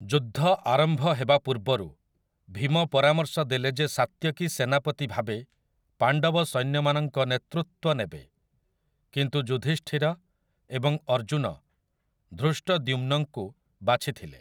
ଯୁଦ୍ଧ ଆରମ୍ଭ ହେବା ପୂର୍ବରୁ, ଭୀମ ପରାମର୍ଶ ଦେଲେ ଯେ ସାତ୍ୟକୀ ସେନାପତି ଭାବେ ପାଣ୍ଡବ ସୈନ୍ୟମାନଙ୍କ ନେତୃତ୍ୱ ନେବେ, କିନ୍ତୁ ଯୁଧିଷ୍ଠିର ଏବଂ ଅର୍ଜୁନ ଧୃଷ୍ଟଦ୍ୟୁମ୍ନଙ୍କୁ ବାଛିଥିଲେ ।